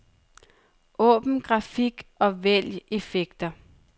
Åbn grafik og vælg effekter.